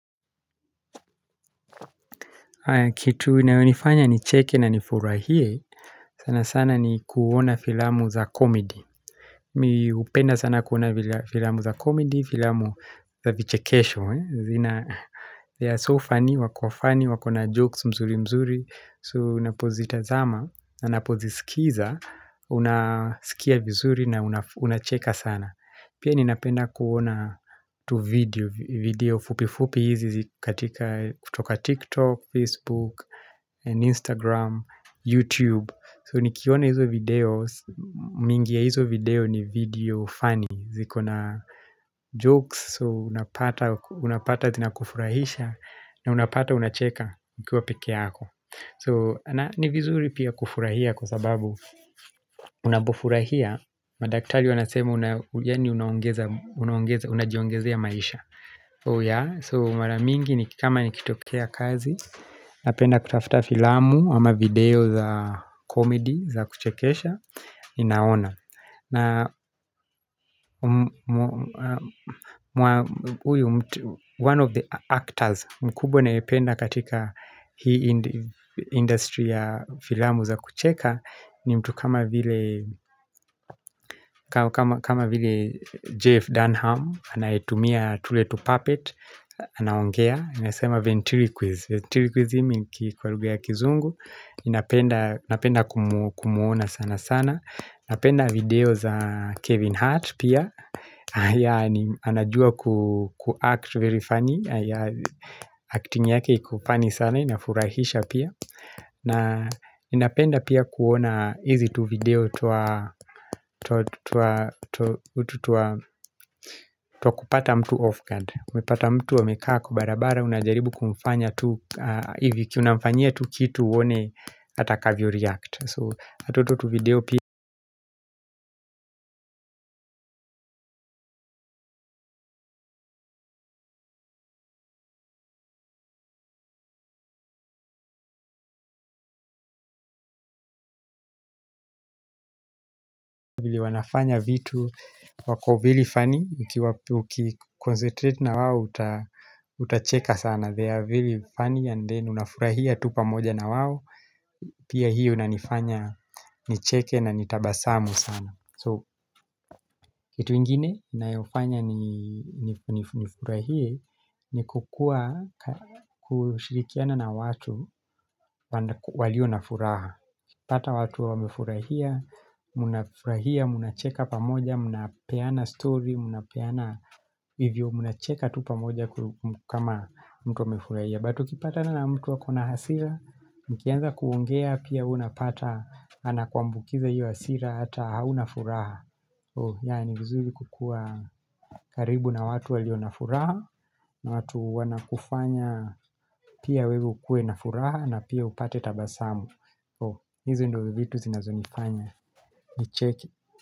Kitu inayonifanya nicheke na nifurahie sana sana ni kuona filamu za comedy Mimi hupenda sana kuona filamu za comedy, filamu za vichekesho zina They are so funny, wakofunny, wako na jokes mzuri mzuri So unapozitazama na napozisikiza Unasikia vizuri na unacheka sana Pia ninapenda kuona tuvideo video fupi fupi hizi katika kutoka TikTok, Facebook and Instagram, YouTube so nikiona izo video mingi ya hizo video ni video funny ziko na jokes so unapata zina kufurahisha na unapata unacheka ukiwa peke yako so na ni vizuri pia kufurahia kwa sababu unapofurahia madaktali wanasema unajiongezea ya maisha so mara mingi ni kama nikitokea kazi napenda kutafuta filamu ama video za komedi za kuchekesha Inaona na uyu One of the actors mkubwa nayependa katika Hii industry ya filamu za kucheka ni mtu kama vile kama vile Jeff Dunham Anayetumia tuletu puppet Anaongea inasema Venturi Quiz Venturi Quizim kwa lugha ya kizungu napenda kumuona sana sana napenda video za Kevin Hart pia haya anajua ku act very funny Acting yake iko funny sana, inafurahisha pia Ninapenda pia kuona hizi tu video twa kupata mtu off guard Umepata mtu amekaa kwa barabara unajaribu kumfanya tu hivi ikiwa unamfanya tu kitu uone Atakavyo react So hata tu video pili wanafanya vitu wako very funny Uki concentrate na wao Uta cheka sana They are very funny and then unafurahia tu pamoja na wao Pia hii unanifanya nicheke na nitabasamu sana So kitu ingine inayofanya nifurahie ni kukua kushirikiana na watu walionafuraha ukipata watu wamefurahia mnafurahia, mnacheka pamoja mnapeana story mnacheka tu pamoja kama mtu amefurahia but ukipatana na mtu ako na hasira mkianza kuongea pia huwa unapata anakwambukiza hiyo hasira ata haunafuraha yani ni vizuri kukuwa karibu na watu walionafuraha na watu wanakufanya Pia wewe ukue na furaha na pia upate tabasamu hizi ndizo vitu zinazonifanya nicheke.